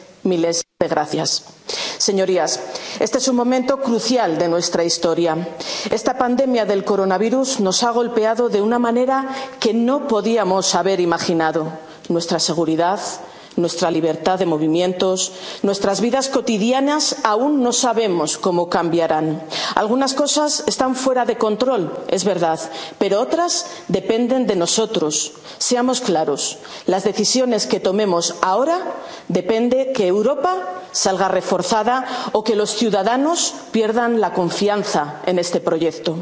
miles de gracias. Señorías, este es un momento crucial de nuestra historia. Esta pandemia del coronavirus nos ha golpeado de una manera que no podíamos haber imaginado nuestra seguridad, nuestra libertad de movimientos, nuestras vidas cotidianas, aún no sabemos cómo cambiarán. Algunas cosas están fuera de control, es verdad, pero otras dependen de nosotros. Seamos claros de las decisiones que tomemos ahora depende que Europa salga reforzada o que los ciudadanos pierdan la confianza en este proyecto.